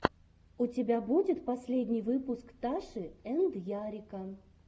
у тебя будет последний выпуск таши энд ярика